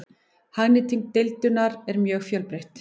Hagnýting deildunar er mjög fjölbreytt.